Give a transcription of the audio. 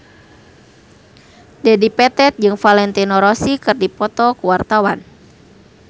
Dedi Petet jeung Valentino Rossi keur dipoto ku wartawan